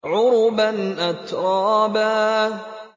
عُرُبًا أَتْرَابًا